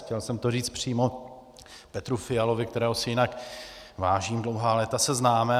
Chtěl jsem to říct přímo Petru Fialovi, kterého si jinak vážím, dlouhá léta se známe.